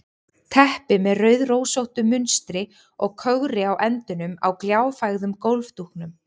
Teppi með rauðrósóttu munstri og kögri á endunum á gljáfægðum gólfdúknum.